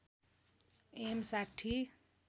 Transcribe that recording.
am ६०